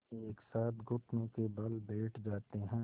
एक साथ घुटनों के बल बैठ जाते हैं